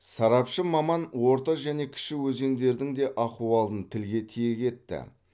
сарапшы маман орта және кіші өзендердің де ахуалын тілге тиек етті